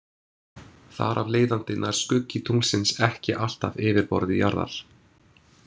Þar af leiðandi nær skuggi tunglsins ekki alltaf yfirborði jarðar.